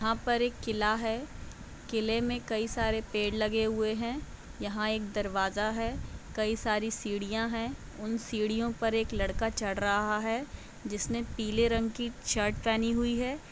यहाँ पर एक किला है। किले में कई सारे पेड़ लगे हुए हैं। यहाँ एक दरवाजा है। कई सारी सीढ़ियाँ हैं। उन सीढ़ियों पर एक लड़का चढ़ रहा है जिसने पीले रंग की शर्ट पहनी हुई है।